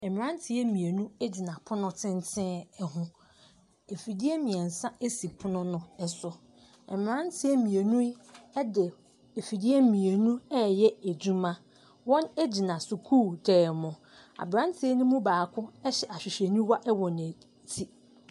Mmeranteɛ mmienu gyina pono tenten ho. Mfidie mmeɛnsa si pono no so. Mmeranteɛ mmieni yi di mfidie mmienu reyɛ adwuma. Wɔgyina sukuudan mu. Aberanteɛ no mu baako hyɛ ahwehwɛniwa wɔ n'a ti.